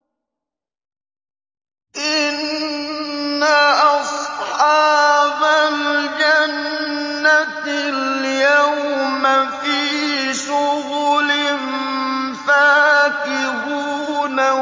إِنَّ أَصْحَابَ الْجَنَّةِ الْيَوْمَ فِي شُغُلٍ فَاكِهُونَ